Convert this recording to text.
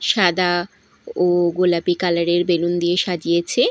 সাদা ও গোলাপি কালার -এর বেলুন দিয়ে সাজিয়েছে।